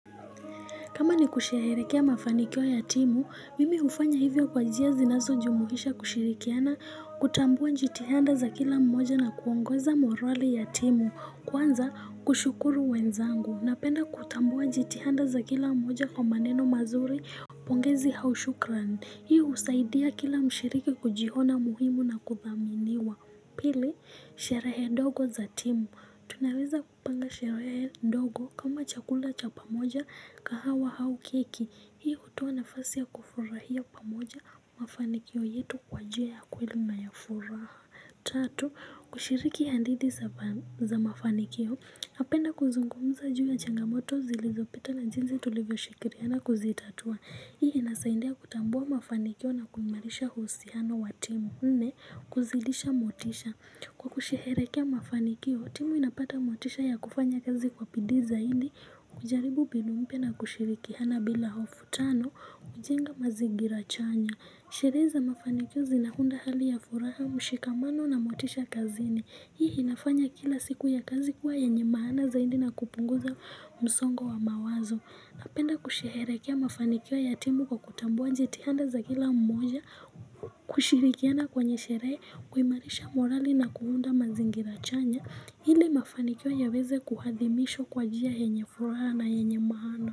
Kama ni kusheherekea mafanikio ya timu, mimi ufanya hivyo kwa jia zi naso jumuhisha kushirikiana kutambua jitihanda za kila mmoja na kuongoza morali ya timu kwanza kushukuru wenzangu. Napenda kutambua jitihanda za kila mmoja kwa maneno mazuri pongezi au shukran. Hii usaidia kila mshiriki kujihona muhimu na kudhaminiwa. Pili, sherehe ndogo za timu. Tunaweza kupanga sherehe dogo kama chakula cha pamoja kahawa au keki. Hii utoa nafasi ya kufurahia pamoja mafanikio yetu kwa njia ya kweli na yafuraha. Tatu, kushiriki handithi za mafanikio, napenda kuzungumza juu ya changamoto zilizo pita na jinzi tulivyo shikiriana kuzitatua, hii inasaindia kutambua mafanikio na kuimarisha uhusiano wa timu nne, kuzilisha motisha Kwa kusherehekea mafanikio, timu inapata motisha ya kufanya kazi kwa bidii zaidi, kujaribu mbinu mpya na kushirikiana bila hofu tano, kujenga mazigira chanya Sherehe za mafanikio zinahunda hali ya furaha, mshikamano na motisha kazini. Hii inafanya kila siku ya kazi kuwa yenye maana zaidi na kupunguza msongo wa mawazo. Napenda kusherehekea mafanikio ya timu kwa kutambua jitihanda za kila mmoja kushirikiana kwenye sherehe kuimarisha morali na kuunda mazingira chanya. Hili mafanikio yaweze kuhadhimishwa kwa jia yenye furaha na yenye maana.